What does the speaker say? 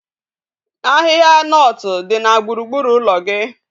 Ahihia nut di na gburugburu ulo gi